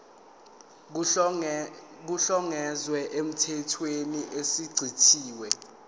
kuhlongozwe emthethweni osuchithiwe